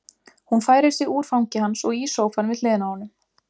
Hún færir sig úr fangi hans og í sófann við hliðina á honum.